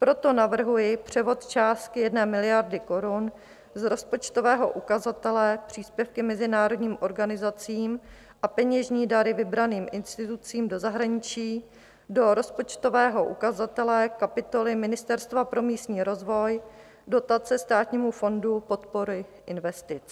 Proto navrhuji převod částky 1 miliardy korun z rozpočtového ukazatele Příspěvky mezinárodním organizacím a peněžní dary vybraným institucím do zahraničí do rozpočtového ukazatele kapitoly Ministerstva pro místní rozvoj - Dotace Státnímu fondu podpory investic.